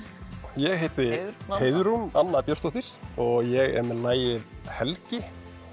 ég heiti Heiðrún Anna Björnsdóttir og ég er með lagið Helgi